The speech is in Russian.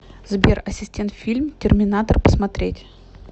сбер ассистент фильм терминатор посмотреть